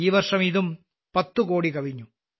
ഈ വർഷം ഇതും 10 കോടി കവിഞ്ഞു